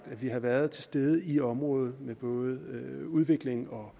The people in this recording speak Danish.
at vi har været til stede i området med både udviklingshjælp og